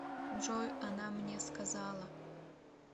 джой она мне сказала